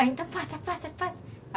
Ah, então faça, faça, faça.